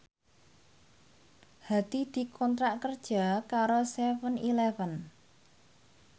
Hadi dikontrak kerja karo seven eleven